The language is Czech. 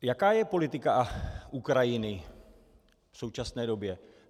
Jaká je politika Ukrajiny v současné době?